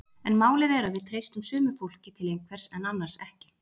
En málið er að við treystum sumu fólki til einhvers en annars ekki.